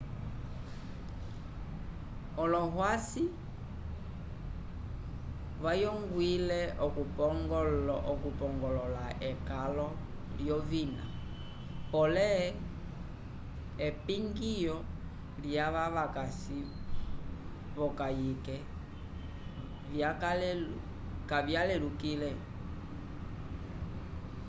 olohwasi vayongwile okupongolola ekalo lyovina pole epingiyo lyava vakasi v'okayike kavyalelukile